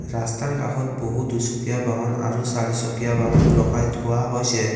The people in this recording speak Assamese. ৰাস্তাৰ কাষত বহু দুচকীয়া বাহন আৰু চাৰিচকীয়া বাহন ৰখাই থোৱা হৈছে।